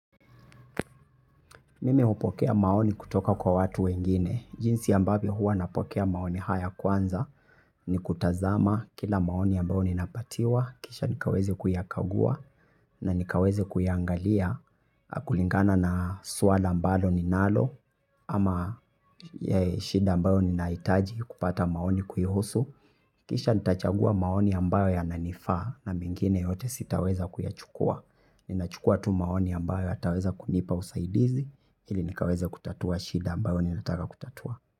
Mimi hupokea maoni kutoka kwa watu wengine. Jinsi ambavyo huwa napokea maoni haya kwanza. Ni kutazama kila maoni ambayo ninapewa, kisha niweze kuyakagua na kuyaangalia, kulingana na suala ambalo ninayo. Ya shida ambayo ninahitaji kupata maoni kuhusu, kisha nitachagua maoni ambayo yananifaa na mengine yote sitaweza kuyachukua. Ninachukua tu maoni ambayo yataweza kunipa usaidizi ili niweze kutatua shida ambayo ninataka kutatua.